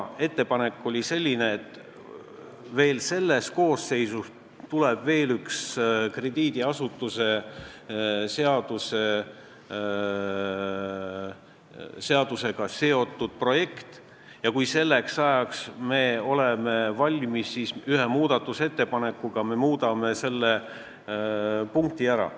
Ettepanek oli selline, et selle koosseisu ajal tuleb veel üks krediidiasutuste seadusega seotud projekt ja kui me selleks ajaks oleme valmis, siis me ühe muudatusettepanekuga muudame selle punkti ära.